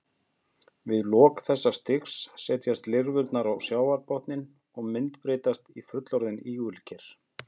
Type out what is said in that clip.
Við lok þessa stigs setjast lirfurnar á sjávarbotninn og myndbreytast í fullorðin ígulker.